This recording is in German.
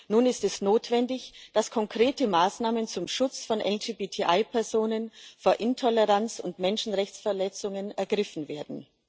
Nun ist es notwendig, dass konkrete Maßnahmen zum Schutz von LGBTI Personen vor Intoleranz und Menschenrechtsverletzungen ergriffen werden.